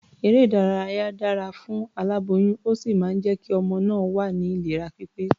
Eré-ìdárayá dára fún aláboyún, ó sì máa jẹ́ kí ọmọ náà wà ní ìlera pípé.